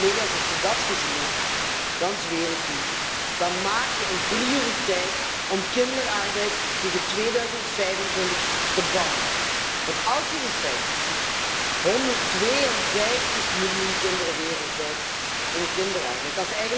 Als je dat gezien hebt, dan zweer ik u, dan maak je er een prioriteit van om kinderarbeid tegen 2025 uit te bannen. Als je de cijfers ziet 152 miljoen kinderen wereldwijd in kinderarbeid.